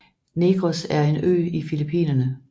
Negros er en ø i Filipinerne